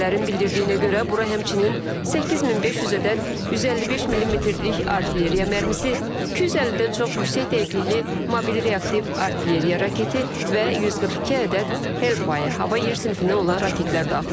Mənbələrin bildirdiyinə görə bura həmçinin 8500 ədəd 155 millimetrlik artilleriya mərmisi, 250-dən çox yüksək dəqiqlikli mobil reaktiv artilleriya raketi və 142 ədəd Hellfire hava yer sinifində olan raketlər daxildir.